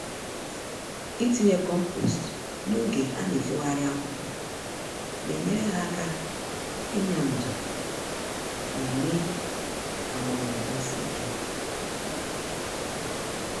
Itinye kompost n'oge anefogharị akụkụ, na enyere ha aka ịnya ndụ, ma mee ka mgbọrọgwụ gbasie ike.